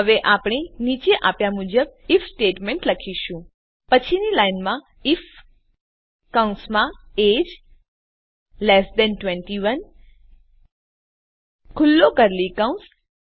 હવે આપણે નીચે આપ્યા મુજબ આઇએફ સ્ટેટમેંટ લખીશું પછીની લાઈનમાં આઇએફ કૌંસમાં એજીઇ ૨૧ ખુલ્લો કર્લી કૌંસ